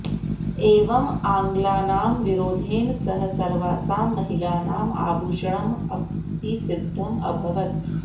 एवम् आङ्ग्लानां विरोधेन सह सर्वासां महिलानाम् आभूषणमपि सिद्धम् अभवत्